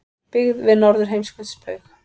Byggð við Norðurheimskautsbaug.